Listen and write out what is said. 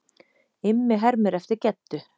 Immi hermir eftir Geddu.